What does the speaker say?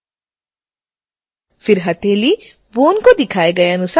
फिर हथेली bone को दिखाए गए अनुसार खिसकाएँ